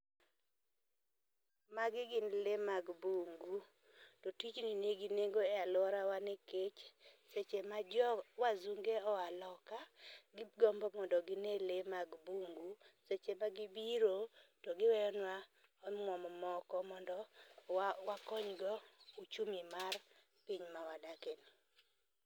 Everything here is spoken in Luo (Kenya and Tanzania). Magi gin lee mag bungu, to tijni nigi nengo e a luorawa nikech seche ma jo wazunge oa loka gigombo mondo gine lee mag bungu. Seche ma gibiro to giweyo nwa omwom moko mondo wakony go ochumi mar piny ma wadakie ni.